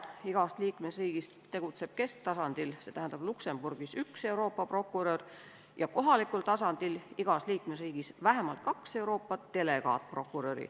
Igast liikmesriigist tegutseb kesktasandil, st Luxembourgis, üks Euroopa prokurör ja kohalikul tasandil igas liikmesriigis vähemalt kaks Euroopa delegaatprokuröri.